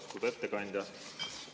Austatud ettekandja!